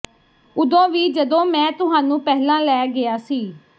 ਉਦੋਂ ਵੀ ਜਦੋਂ ਮੈਂ ਤੁਹਾਨੂੰ ਪਹਿਲਾਂ ਲੈ ਗਿਆ ਸੀ